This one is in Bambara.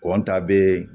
ta be